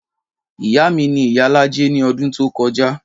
Ìyá mi ni ìyálájé ní ọdún tó kọjá.